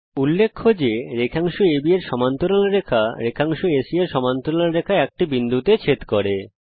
উল্লেখ্য যে রেখাংশ AB এর সমান্তরাল রেখা এবং রেখাংশ AC এর সমান্তরাল রেখা একটি বিন্দুতে ছেদ করে